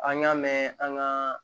An y'a mɛn an ka